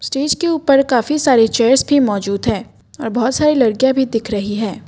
Stage के ऊपर काफी सारे चेयर्स भी मौजूद हैं और बहुत सारी लड़कियां भी दिख रही हैं।